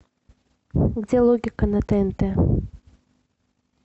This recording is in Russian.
где логика на тнт